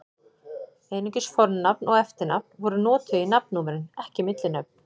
Einungis fornafn og eftirnafn voru notuð í nafnnúmerin, ekki millinöfn.